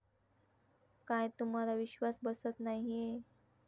काय, तुम्हाला विश्वास बसत नाहीये?